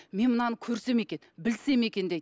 мен мынаны көрсем екен білсем екен дейді